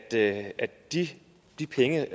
at at de de penge